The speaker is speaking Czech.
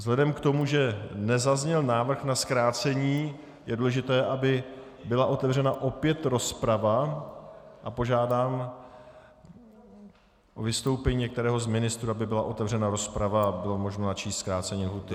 Vzhledem k tomu, že nezazněl návrh na zkrácení, je důležité, aby byla otevřena opět rozprava, a požádám o vystoupení některého z ministrů, aby byla otevřena rozprava a bylo možno načíst zkrácení lhůty.